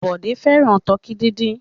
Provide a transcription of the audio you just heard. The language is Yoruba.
Bọ̀dé fẹ́ràn tọkí dídín.